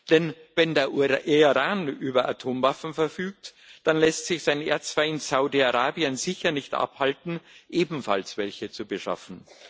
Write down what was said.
Denn wenn der Iran über Atomwaffen verfügt, dann lässt sich sein Erzfeind Saudi Arabien sicher nicht davon abhalten, ebenfalls welche zu beschaffen.